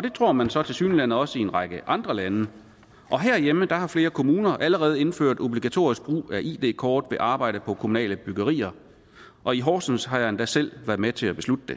det tror man så tilsyneladende også i en række andre lande og herhjemme har flere kommuner allerede indført obligatorisk brug af id kort ved arbejde på kommunale byggerier og i horsens har jeg endda selv været med til at beslutte det